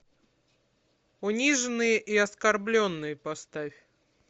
униженные и оскорбленные поставь